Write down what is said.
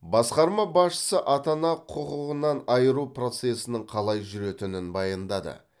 басқарма басшысы ата ана құқығынан айыру процесінің қалай жүретінін баяндады